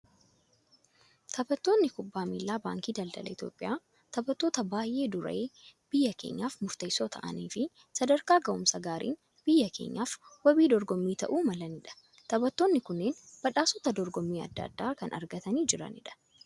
Taphattootni kubbaa miilaa baankii daldala Itoophiyaa, taphattoota baayyee duree biyya keenyaaf murteessoo ta'anii fi sadarkaa gahumsa gaariin biyya keenyaaf wabii dorgommii ta'uu malanidha. Taphattootni kunneen badhaasota dorgommii addaa addaa kan argatanii jiranidha.